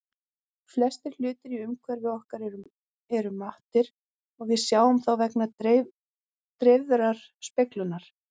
Flestir hlutir í umhverfi okkar eru mattir og við sjáum þá vegna dreifðrar speglunar.